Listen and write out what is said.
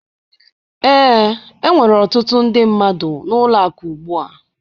Ee, enwere ọtụtụ ndị mmadụ n'ụlọ akụ ugbu a